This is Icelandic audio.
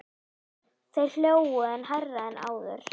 Þeir hlógu enn hærra en áður.